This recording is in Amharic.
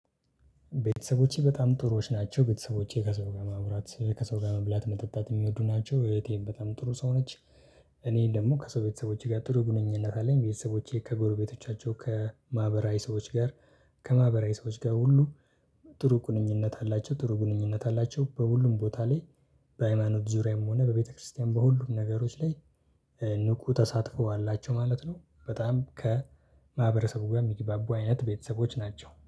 ቤተሰቦቼ በጣም ጥሩዎች ናቸው። ቤተሰቦቼ ከሰው ጋር ማውራት፣ ከሰው ጋር መብላት፣ መጠጣት የሚወዱ ናቸው። እህቴም በጣም ጥሩ ሰው ነች። እኔን ደግሞ ከሰው ቤተሰቦቼ ጋር ጥሩ ግንኙነት አለኝ። ቤተሰቦቼ ከጎርቤቶቻቸው፣ ከማህበራዊ ሰዎች ጋር፣ ከማህበራዊ ሰዎች ጋር ሁሉ ጥሩ ግንኙነት አላቸው፣ ጥሩ ግንኙነት አላቸው በሁሉም ቦታ ላይ። በሃይማኖት ዙሪያም ሆነ በቤተክርስቲያን በሁሉም ነገሮች ላይ ንቁ ተሳትፈዋላቸው ማለት ነው። በጣም ከማህበረሰቡ ጋር የሚግባቡ አይነት ቤተሰቦች ናቸው።